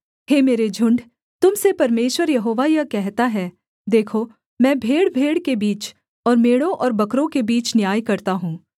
हे मेरे झुण्ड तुम से परमेश्वर यहोवा यह कहता है देखो मैं भेड़भेड़ के बीच और मेढ़ों और बकरों के बीच न्याय करता हूँ